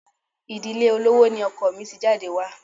Ìdílé olówó ni ọkọ mi ti jáde wá.